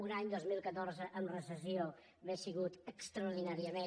un any dos mil catorze amb recessió hauria sigut extraordinàriament